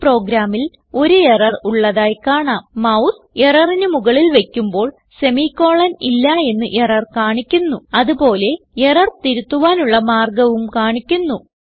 ഈ പ്രോഗ്രാമിൽ ഒരു എറർ ഉള്ളതായി കാണാം mouse എററിന് മുകളിൽ വയ്ക്കുമ്പോൾ സെമിക്കോളൻ ഇല്ല എന്ന് എറർ കാണിക്കുന്നുഅത് പോലെ എറർ തിരുത്തുവാനുള്ള മാർഗവും കാണിക്കുന്നു